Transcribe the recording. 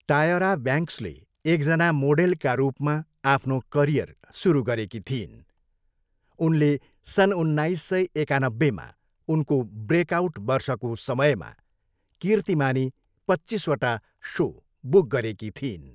टायरा ब्याङ्क्सले एकजना मोडेलका रूपमा आफ्नो करियर सुरु गरेकी थिइन्, उनले सन् उन्नाइस सय एकानब्बेमा उनको ब्रेकआउट वर्षको समयमा, कीर्तिमानी पच्चिसवटा सो बुक गरेकी थिइन्।